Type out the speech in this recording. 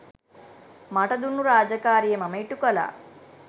මට දුන්නු රාජකාරිය මම ඉටු කළා.